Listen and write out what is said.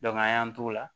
an y'an t'o la